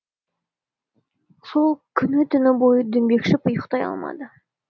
сол күні түні бойы дөңбекшіп ұйықтай алмады